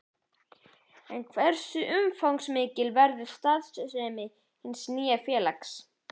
En hversu umfangsmikil verður starfssemi hins nýja félags?